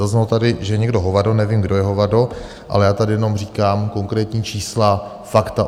Zaznělo tady, že je někdo hovado - nevím, kdo je hovado, ale já tady jenom říkám konkrétní čísla, fakta.